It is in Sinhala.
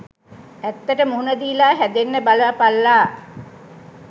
ඇත්තට මුහුණ දීලා හැදෙන්න බලාපල්ලා.